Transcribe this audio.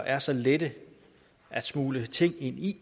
er så let at smugle ting ind i